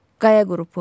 Qaya qrupu.